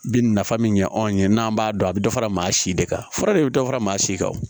Bi nafa min ɲɛ anw ye n'an b'a dɔn a bɛ dɔ fara maa si de kan fura de bɛ dɔ fara maa si kan wo